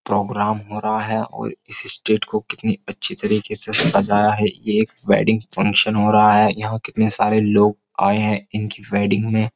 programme हो रहा है और इस स्टेज को कितनी अच्छी तरीके से सजाया है यह एक वेडिंग फंक्शन हो रहा है यहां कितने सारे लोग आए हैं इनकी वेडिंग में --